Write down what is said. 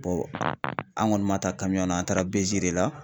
an kɔni man taa an taara BJl de la.